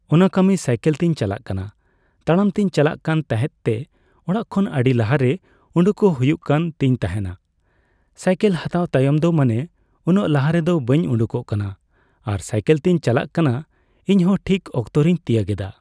ᱚᱱᱟ ᱠᱟᱹᱢᱤ ᱥᱟᱭᱠᱮᱞᱛᱮᱧ ᱪᱟᱞᱟᱜ ᱠᱟᱱᱟ ᱛᱟᱲᱟᱢᱛᱮᱧ ᱪᱟᱞᱟᱜ ᱠᱟᱱᱛᱟᱦᱮᱸᱜ ᱛᱮ ᱚᱲᱟᱜᱠᱷᱚᱱ ᱟᱹᱰᱤ ᱞᱟᱦᱟᱨᱮ ᱩᱰᱩᱠᱚᱜ ᱦᱩᱭᱩᱜ ᱠᱟᱱᱛᱤᱧ ᱛᱟᱦᱮᱱᱟ ᱥᱟᱭᱠᱮᱞ ᱦᱟᱛᱟᱣ ᱛᱟᱭᱚᱢ ᱫᱚ ᱢᱟᱱᱮ ᱩᱱᱟᱹᱜ ᱞᱟᱦᱟ ᱨᱮᱫᱚ ᱵᱟᱹᱧ ᱩᱰᱩᱠᱚᱜ ᱠᱟᱱᱟ ᱟᱨ ᱥᱟᱭᱠᱮᱞᱛᱮᱧ ᱪᱟᱞᱟᱜ ᱠᱟᱱᱟ ᱤᱧᱦᱚ ᱴᱷᱤᱠ ᱚᱠᱛᱚᱨᱮᱧ ᱛᱤᱭᱟᱹᱜ ᱮᱫᱟ